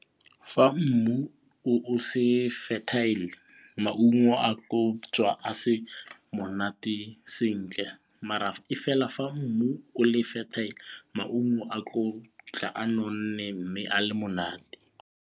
Fa mmu o se fertile maungo a ka tswa a se monate sentle e fela fa mmu o le fertile maungo a tlo tla a nonne mme a le monate.